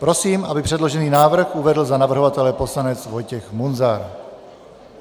Prosím, aby předložený návrh uvedl za navrhovatele poslanec Vojtěch Munzar.